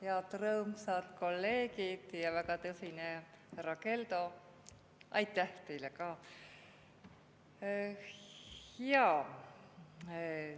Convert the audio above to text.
Head rõõmsad kolleegid ja väga tõsine härra Keldo, aitäh teile ka!